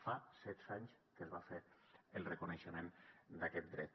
fa setze anys que es va fer el reconeixement d’aquest dret